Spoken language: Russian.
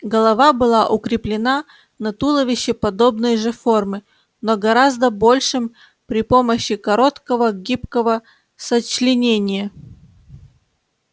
голова была укреплена на туловище подобной же формы но гораздо большем при помощи короткого гибкого сочленения